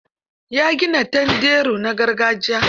Ya gina tanderu na gargajiya.